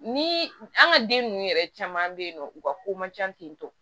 Ni an ka den ninnu yɛrɛ caman bɛ yen nɔ u ka ko man ca ten tɔ